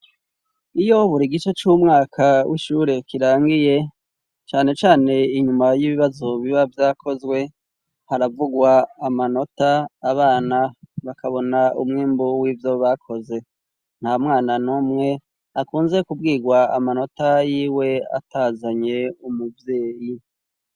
Iyo buri gice c'umwaka w'ishure kirangiye, cane cane inyuma y'ibibazo biba vyakozwe ,haravugwa amanota abana bakabona umwimbu w'ivyo bakoze, nta mwana numwe akunze kubwirwa amanota y'iwe atazanye umuvyeyi.